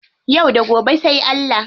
Yau da gobe sai Allah.